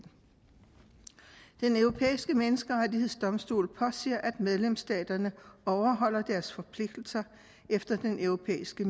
den europæiske menneskerettighedsdomstol påser at medlemsstaterne overholder deres forpligtelser efter den europæiske